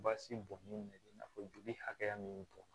Basi bɔn bɛ i n'a fɔ joli hakɛya min bɔn